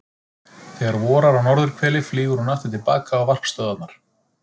Þegar vorar á norðurhveli flýgur hún aftur til baka á varpstöðvarnar.